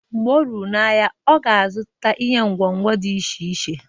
Mgbe o ruru n'ahịa, ọ ga-azụta ihe ngwo ngwo dị iche iche.